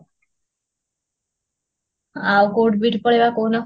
ଆଉ କୋଉଠିବି ଏଇଠି ପଳେଇବା କହୁନ